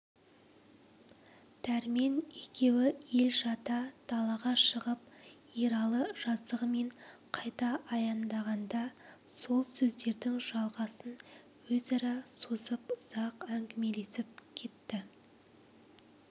дәрмен екеуі ел жата далаға шығып ералы жазығымен қайта аяндағанда сол сөздердің жалғасын өзара созып ұзақ әңгімелесіп кетті